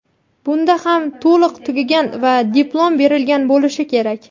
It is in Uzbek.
Bunda ham to‘liq tugagan va diplom berilgan bo‘lishi kerak.